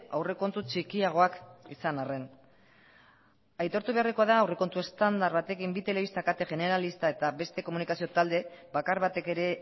aurrekontu txikiagoak izan arren aitortu beharrekoa da aurrekontu estandar batekin bi telebista kate generalista eta beste komunikazio talde bakar batek ere